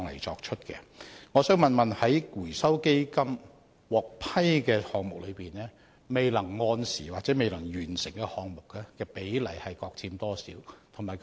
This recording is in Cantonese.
主席，請問在獲基金資助的項目中，未能按時完成甚或未能完成的項目比例各佔多少呢？